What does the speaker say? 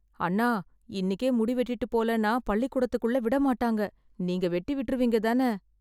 அண்ணா, இன்னிக்கே முடி வெட்டிட்டுப் போலேன்னா, பள்ளிக்கூடத்துக்குள்ள விட மாட்டாங்க. நீங்க வெட்டி விட்ருவீங்க தான?